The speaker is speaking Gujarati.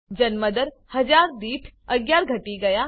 જન્મ દર હજાર દીઠ 11 ઘટી ગયા